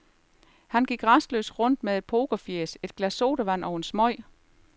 Han gik rastløst rundt med pokerfjæs, et glas sodavand og en smøg.